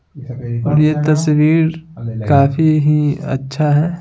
और ये तस्वीर काफी ही अच्छा है।